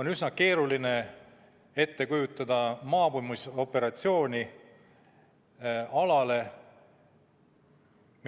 On üsna keeruline ette kujutada, et toimub maabumisoperatsioon mingile alale,